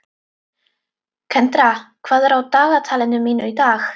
Kendra, hvað er á dagatalinu mínu í dag?